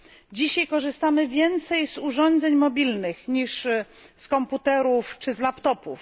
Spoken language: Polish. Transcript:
Dzisiaj korzystamy więcej z urządzeń mobilnych niż z komputerów czy z laptopów.